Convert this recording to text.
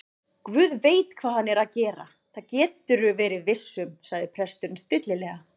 Guð veit hvað hann er að gera, það geturðu verið viss um- sagði presturinn stillilega.